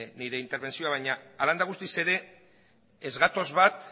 nire irtenbentzioa baina hala eta guztiz ere ez gatoz bat